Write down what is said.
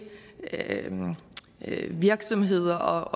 virksomheder